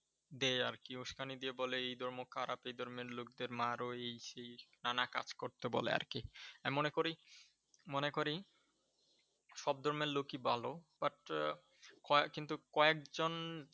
দেয় আর কি, উস্কানি দিয়ে বলে এই ধর্ম খারাপ, এই ধর্মের লোকদের মারো এই সেই নানা কাজ করতে বলে আর কি। আমি মনে করি, মনে করি সব ধর্মের লোকই ভালো But কয়েক কিন্তু কয়েকজন